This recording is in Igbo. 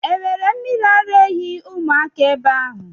E nwere mmiri ara ehi ụmụaka ebe ahụ?